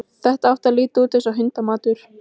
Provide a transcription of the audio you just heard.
Sofið undir brennheitri sólinni lungann úr síðdeginu.